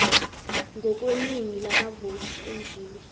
ngokweningi lamavoti enziwe